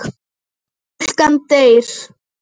Stúlkan deyr.